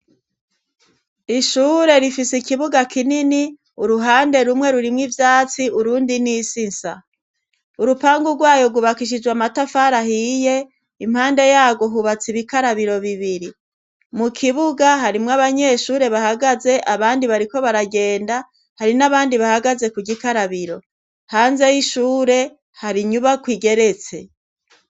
Ishure rifise ikibuga kinini uruhande rumwe rurimwo ivyatsi urundi n'isisa urupangu gwayo gwubakishijwe amatafari ahiye impande yagwo hubatse ibikarabiro bibiri mu kibuga harimwo abanyeshure bahagaze abandi bariko baragenda hari n'abandi bahagaze ku gikarabiro hanze y'ishure hari inyubakwa igeretse.